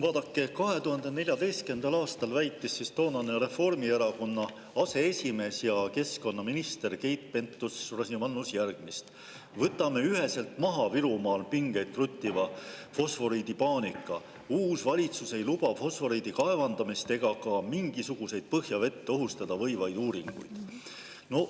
Vaadake, 2014. aastal väitis toonane Reformierakonna aseesimees ja keskkonnaminister Keit Pentus-Rosimannus järgmist: "Võtame üheselt maha Virumaal pingeid kruttiva fosforiidipaanika – uus valitsus ei luba fosforiidi kaevandamist ega ka mingisuguseid põhjavett ohustada võivaid uuringuid.